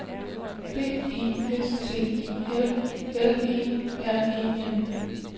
B E S T I L L E R E N